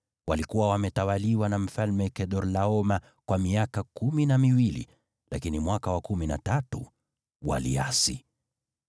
Walikuwa wametawaliwa na Mfalme Kedorlaoma kwa miaka kumi na miwili, lakini mwaka wa kumi na tatu waliasi.